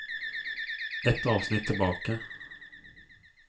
Ett avsnitt tilbake